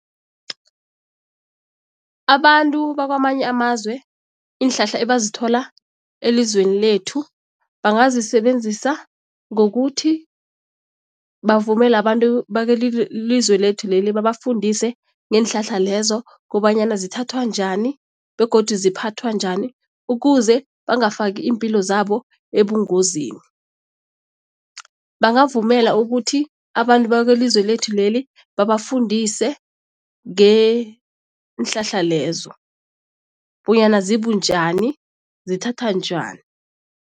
Abantu bakwamanye amazwe iinhlahla ebazithola elizweni lethu bangazisebenzisa ngokuthi bavumele abantu lethu leli babafundise ngeenhlahla lezo kobanyana zithathwa njani begodu ziphathwa njani ukuze bangafaki iimpilo zabo ebungozini. Bangavumela ukuthi abantu bakwelizwe lethu leli babafundise ngeenhlahla lezo bonyana zibunjani, zithathwa njani.